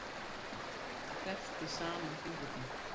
Kreppti saman fingurna.